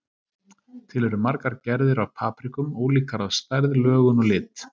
Til eru margar gerðir af paprikum, ólíkar að stærð, lögun og lit.